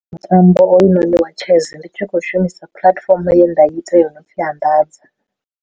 Mutambo hoyunoni wa chess ndi tshi khou shumisa puḽatifomo ye nda ita yo no pfi anḓadza.